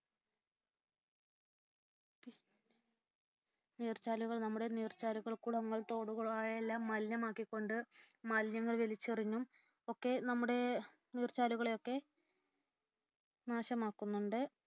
നീർച്ചാലുകൾ നമ്മുടെ നീർച്ചാലുകൾ കുളങ്ങൾ തോടുകൾ എല്ലാം മലിനമാക്കിക്കൊണ്ട് മാലിന്യങ്ങൾ വലിച്ചെറിഞ്ഞും ഒക്കെ നമ്മുടെ നീർച്ചാലുകളെയൊക്കെ നാശമാക്കുന്നുണ്ട്.